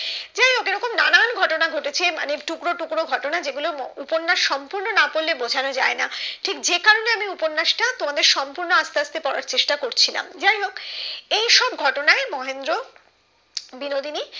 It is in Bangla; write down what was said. ঘটনা ঘটেছে মানে টুকরো টুকরো ঘটনা যেগুলো ম উপন্যাস সম্পূর্ণ না পড়লে বোঝানো যায়না ঠিক যে কারণে আমি উপন্যাসটা তোমাদের সম্পূর্ণ আস্তে আস্তে পড়ার চেষ্টা করছিলাম যাইহোক এই সব ঘটনায় মহেন্দ্র বিনোদিনী